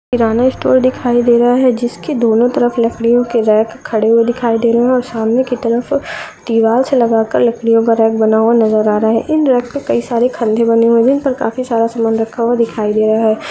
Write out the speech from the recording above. किनारा स्टोर दिखाई दे रहा है जिसके दोनों तरफ लकड़ियो के रैक खड़े हुए दिखाई दे रहा है और सामने की तरफ दीवार से लगा कर लकड़ियो का रैक बना हुआ नज़र आ रहा है। इन रेक मे काफी सारे खाने बने हुए है इन पर काफी सारा सामान दिखाई दे रहा है।